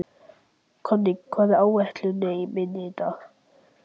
Konný, hvað er á áætluninni minni í dag?